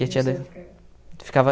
E a tia da... ficava